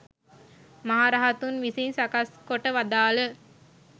මහරහතුන් විසින් සකස් කොට වදාළ